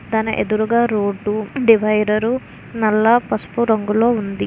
తన ఎదురుగా road డివైడరూ నల్ల పసుపు రంగులో ఉంది.